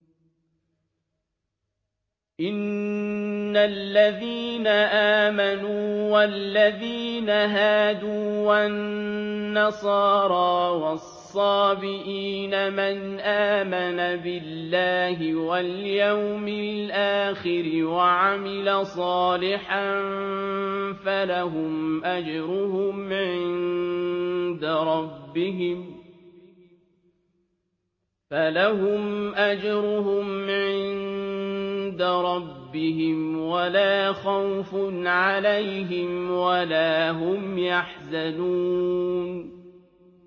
إِنَّ الَّذِينَ آمَنُوا وَالَّذِينَ هَادُوا وَالنَّصَارَىٰ وَالصَّابِئِينَ مَنْ آمَنَ بِاللَّهِ وَالْيَوْمِ الْآخِرِ وَعَمِلَ صَالِحًا فَلَهُمْ أَجْرُهُمْ عِندَ رَبِّهِمْ وَلَا خَوْفٌ عَلَيْهِمْ وَلَا هُمْ يَحْزَنُونَ